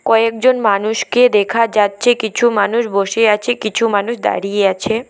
কয়েকজন মানুষকে দেখা যাচ্ছে কিছু মানুষ বসে আছে কিছু মানুষ দাঁড়িয়ে আছে।